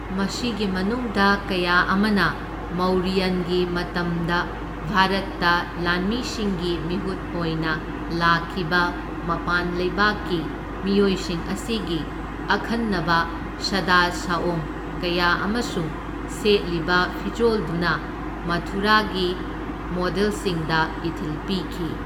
ꯃꯁꯤꯒꯤ ꯃꯅꯨꯡꯗ ꯀꯌꯥ ꯑꯃꯅ ꯃꯧꯔꯤꯌꯟꯒꯤ ꯃꯇꯝꯗ ꯚꯥꯔꯠꯇ ꯂꯥꯟꯃꯤꯁꯤꯡꯒꯤ ꯃꯤꯍꯨꯠ ꯑꯣꯏꯅ ꯂꯥꯛꯈꯤꯕ ꯃꯄꯥꯟ ꯂꯩꯕꯥꯛꯀꯤ ꯃꯤꯑꯣꯏꯁꯤꯡ ꯑꯁꯤꯒꯤ ꯑꯈꯟꯅꯕ ꯁꯗꯥ ꯁꯑꯣꯡ ꯀꯌꯥ ꯑꯃꯁꯨꯡ ꯁꯦꯠꯂꯤꯕ ꯐꯤꯖꯣꯜꯗꯨꯅ ꯃꯊꯨꯔꯥꯒꯤ ꯃꯣꯗꯦꯜꯁꯤꯡꯗ ꯏꯊꯤꯜ ꯄꯤꯈꯤ꯫